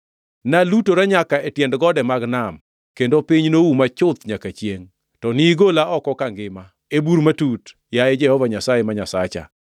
Nalutora nyaka e tiend gode mag nam kendo piny nouma chuth nyaka chiengʼ. To nigola oko kangima e bur matut, yaye Jehova Nyasaye, ma Nyasacha.